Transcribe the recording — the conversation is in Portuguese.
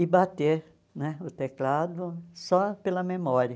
e bater né o teclado só pela memória.